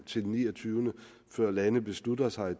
til den 29 før lande beslutter sig